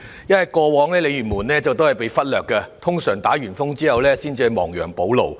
因為過往鯉魚門也會被忽略，一般在颱風後政府才亡羊補牢。